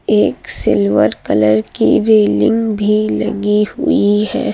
एक silver colour की railing भी लगी हुई है।